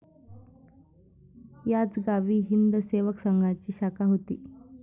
याच गावी हिंद सेवक संघाची शाखा होती.